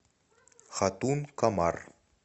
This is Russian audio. хатун комар